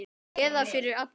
Eða fyrir alla.